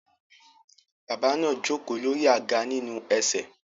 Bàbá náà jókòó lórí àga nínú ese